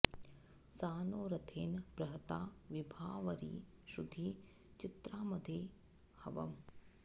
सा नो॒ रथे॑न बृह॒ता वि॑भावरि श्रु॒धि चि॑त्रामघे॒ हव॑म्